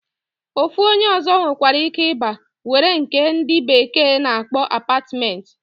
Ofu onye ozo nwekwere ike iba were nke ndi bekee na akpo apartment.